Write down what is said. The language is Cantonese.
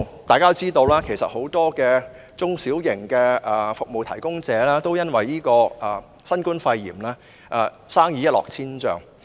大家都知道，很多中小型服務提供者都因新冠肺炎而生意一落千丈。